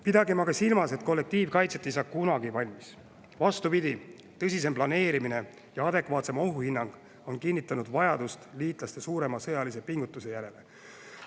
Pidagem aga silmas, et kollektiivkaitse ei saa kunagi valmis, vastupidi, tõsisem planeerimine ja adekvaatsem ohuhinnang on kinnitanud vajadust liitlaste suurema sõjalise pingutuse järele.